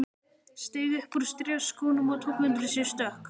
Steig upp úr strigaskónum og tók undir sig stökk.